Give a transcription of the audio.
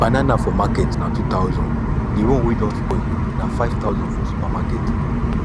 banana for market na 2000 the one wey don spoil na 5000 for supermarket